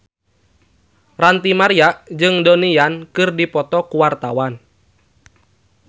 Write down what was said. Ranty Maria jeung Donnie Yan keur dipoto ku wartawan